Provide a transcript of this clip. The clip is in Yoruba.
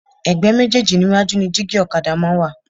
Ẹ̀gbẹ́ méjéèjì níwájú ni dígí ọ̀kadà máa ń wà